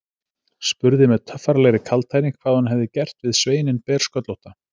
Spurði með töffaralegri kaldhæðni hvað hún hefði gert við sveininn bersköllótta.